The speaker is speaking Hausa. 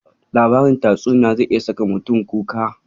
Labarin tausayi zai iya saka mutum kuka.